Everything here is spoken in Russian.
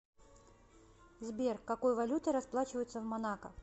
сбер какой валютой расплачиваются в монако